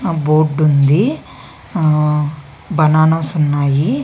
ఆ బోర్డ్ ఉంది. బనానాస్ ఉన్నాయి.